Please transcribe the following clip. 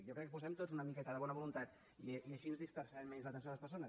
jo crec que posem tots una miqueta de bona voluntat i així dispersarem menys l’atenció a les persones